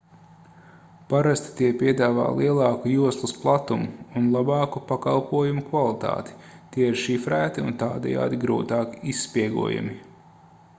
parasti tie piedāvā lielāku joslas platumu un labāku pakalpojumu kvalitāti tie ir šifrēti un tādējādi grūtāk izspiegojami